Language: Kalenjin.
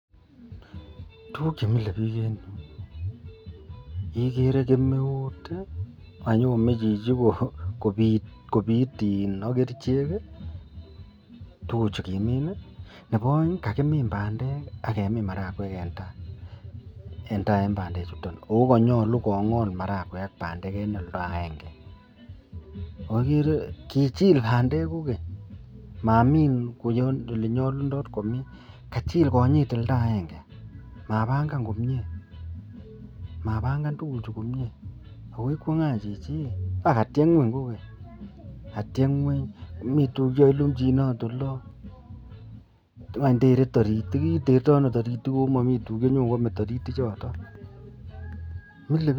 Tuguk cheimilebik en ireyu igere ko keemeut akoyome Chichi kobit agerchek tuguk chikimin Nebo aeng kokakimin bandek akemin marakwek en ta en bandek chuton ako manyalu kongol marakwek ak bandek en olda agenge agere kokichik bandek main konyo ole nyalunot komin kochill konyit oldo agenge mabangan komie akoigere Chichi kokatiech ngweny kogeny ako mi tuguk chekakilumjinot olon went terto taritikomami tuguk cheyoe taritik choton milebik.